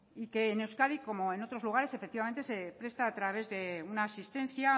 y que en euskadi como en otros lugares efectivamente se presta a través de una asistencia